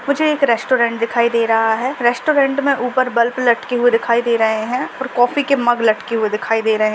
मुझे एक रैस्टौरेंट दिखाई दे रहा है। रैस्टौरेंट मे ऊपर बल्ब लटके हुए दिखाई दे रहे है और कॉफी के मग लटके हुए दिखाई दे रहे है।